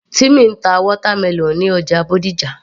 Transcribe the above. Timmy ń ta watermelon ní ọjà Bódìjà